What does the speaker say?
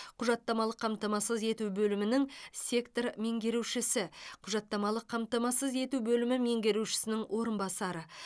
құжаттамалық қамтамасыз ету бөлімінің сектор меңгерушісі құжаттамалық қамтамасыз ету бөлімі меңгерушісінің орынбасары